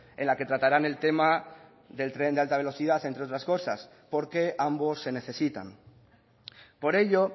en la que tratarán el tema del tren de alta velocidad entre otras cosas porque ambos se necesitan por ello